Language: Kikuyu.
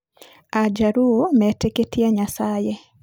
AJaluo metĩkĩtie Nyasaye.